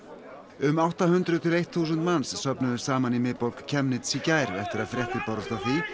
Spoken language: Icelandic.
um átta hundruð til eitt þúsund manns söfnuðust saman í miðborg Chemnitz í gær eftir að fréttir bárust